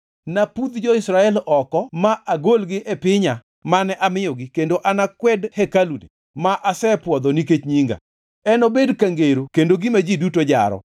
napudh jo-Israel oko ma agolgi e pinya mane amiyogi kendo anakwed hekaluni ma asepwodho nikech Nyinga. Enobed ka ngero kendo gima ji duto jaro.